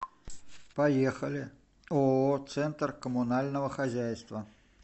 поехали ооо центр коммунального хозяйства